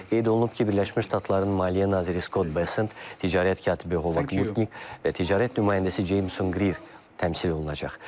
Qeyd olunub ki, Birləşmiş Ştatların maliyyə naziri Scott Bessent, ticarət katibi Hova Mutnik və ticarət nümayəndəsi Jameson Greer təmsil olunacaq.